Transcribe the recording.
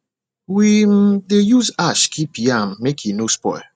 we um dey use ash keep yam make e no spoil